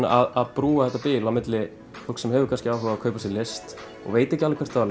að brúa þetta bil milli fólks sem hefur kannski áhuga á að kaupa sér list og veit ekki alveg hvert það á